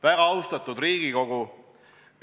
Väga austatud Riigikogu!